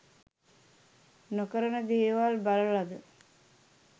නොකරන දේවල් බලලද?